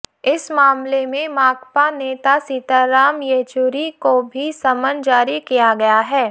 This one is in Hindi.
इस मामले में माकपा नेता सीताराम येचुरी को भी समन जारी किया गया है